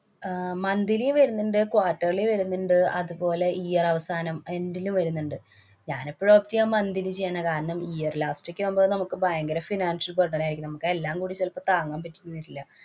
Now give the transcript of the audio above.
അഹ് monthly വരുന്നുണ്ട്. quarterly വരുന്നുണ്ട്. അതുപോലെ year അവസാനം end ലും വരുന്നുണ്ട്. ഞാനെപ്പോഴും ഒക്കെ monthly ചെയ്യണേ. കാരണം, year last ക്കെയാകുമ്പോ നമുക്ക് ഭയങ്കര financial burden നായിരിക്കും. നമുക്കെല്ലാം കൂടി ചിലപ്പോ താങ്ങാന്‍ പറ്റീന്ന് വരില്ല.